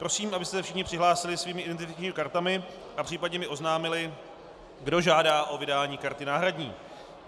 Prosím, abyste se všichni přihlásili svými identifikačními kartami a případně mi oznámili, kdo žádá o vydání karty náhradní.